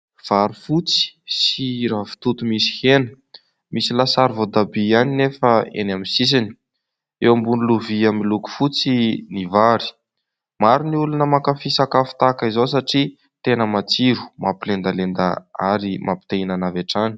vary fotsy sy ravitoto misy hena misy lasary voatabia ihany nefa eny amin'ny sisiny eo ambony lovia miloko fotsy, ny vary hohanin' ny olona mankafy sakafo tahaka izao satria tena matsiro mampilendalenda ary mampite -hihinana avy hatrany